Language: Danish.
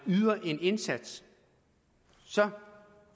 yder en indsats så